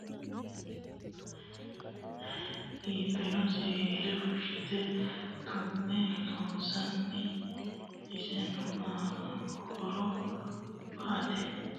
Kunni illete leelani noohu bilawaho iso loonsanihu siwiila giirre hakiini hanafe iibino siwiila fushine tumme loonsanni . Isino aano horro ba'ete...